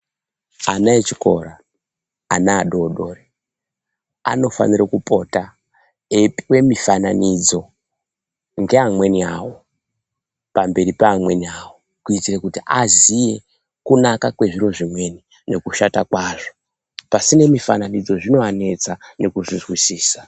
Ana echikora, ana adoodori anofanire kupota, eipuwe mifananidzo, ngeamweni awo, pamberi peamweni awo, kuitire kuti aziye, kunaka kwezviro zvimweni nekushata kwazvo. Pasine mufananidzo zvinoanetsa nekuzvizwisisa.